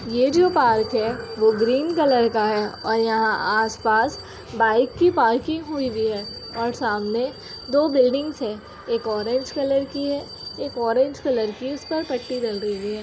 ये जो पार्क है वो ग्रीन कलर का है और यहाँ आस-पास बाइक की पार्किंग हुई भी है और सामने दो बिल्डिंग्स है। एक ऑरेंज कलर की है। एक ऑरेंज कलर की उसका पट्टी हुई है।